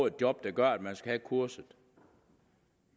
et job der gør at man skal have kurset